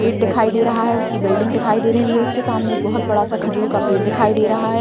Gate दिखाई दे रहा है उसकी बिल्डिंग दिखाई दे रही है उसके सामने एक बहोत बड़ा सा खजूर का पेड़ दिखाई दे रहा है।